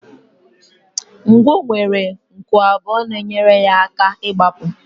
Ngwọ nwere nku abụọ na-enyere ha aka n'ịgbapụ